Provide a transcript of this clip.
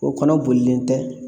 O kɔnɔ bolilen tɛ